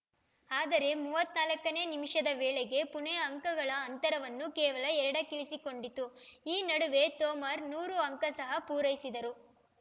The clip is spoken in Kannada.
ಆದರೆ ಮೂವತ್ತ್ ನಾಲ್ಕ ನೇ ನಿಮಿಷದ ವೇಳೆಗೆ ಪುಣೆ ಅಂಕಗಳ ಅಂತರವನ್ನು ಕೇವಲ ಎರಡಕ್ಕಿಳಿಸಿಕೊಂಡಿತು ಈ ನಡುವೆ ತೋಮರ್ ನೂರು ಅಂಕ ಸಹ ಪೂರೈಸಿದರು